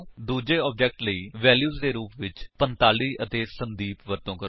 ਦੂੱਜੇ ਆਬਜੇਕਟ ਲਈ ਵੈਲਿਊਜ ਦੇ ਰੁਪ ਵਿੱਚ 45 ਅਤੇ ਸੰਦੀਪ ਵਰਤੋ ਕਰੋ